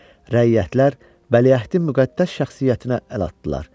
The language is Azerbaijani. Rəiyyətlər Vəliəhdin müqəddəs şəxsiyyətinə əl atdılar.